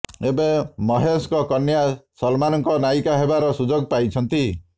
ଏବେ ମହେଶଙ୍କ କନ୍ୟା ସଲମାନ୍ଙ୍କ ନାୟିକା ହେବାର ସୁଯୋଗ ପାଇଛନ୍ତି